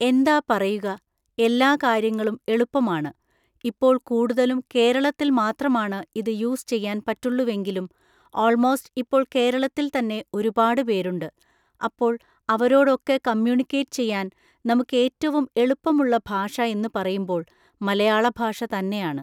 എന്താ പറയുക! എല്ലാ കാര്യങ്ങളും എളുപ്പമാണ്. ഇപ്പോൾ കൂടുതലും കേരളത്തിൽ മാത്രമാണ് ഇത് യൂസ് ചെയ്യാൻ പറ്റുള്ളുവെങ്കിലും ഓൾമോസ്റ്റ് ഇപ്പോൾ കേരളത്തിൽ തന്നെ ഒരുപാട് പേരുണ്ട്. അപ്പോൾ അവരോടൊക്കെ കമ്മ്യൂണിക്കേറ്റ് ചെയ്യാൻ നമുക്കേറ്റവും എളുപ്പമുള്ള ഭാഷ എന്ന് പറയുമ്പോൾ മലയാളഭാഷ തന്നെയാണ്